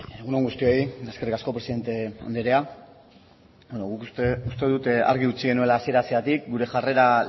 egun on guztioi eskerrik asko presidente andrea guk uste dut argi utzi genuela hasiera hasieratik gure jarrera